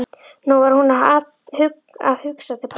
Nú var hún að hugsa til pabba.